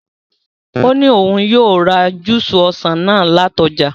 Ó ní òun yóò ra júúsì ọsàn náà láti ọjà.